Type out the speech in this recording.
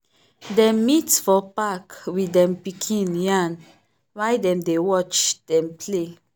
dem meet for park with dem pikin yarn while dem dey watch dem play.